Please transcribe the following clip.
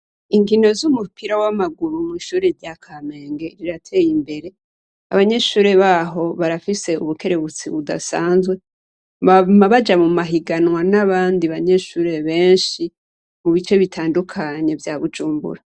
Inkino z'umupira w'amaguru mw'ishure rya Kamenge rirateye imbere. Abanyeshure baho barafise ubukerebutsi budasanzwe. Bama Baja mu mahiganwa n'abandi banyeshure benshi mu bice bitandukanye vya Bujumbura.